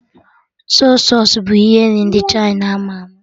Sọy sausụ bụ ihe nri ndị Chịna ama ama